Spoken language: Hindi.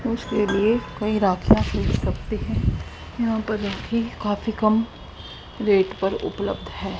उसके लिए कई राखियां पूछ सकते हैं यहां पर राखी काफी कम रेट पर उपलब्ध है।